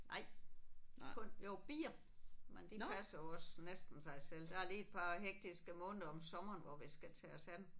Nej. Kun jo bier men de passer jo også næsten sig selv. Der er lige et par hektiske måneder om sommeren hvor vi skal tage os af dem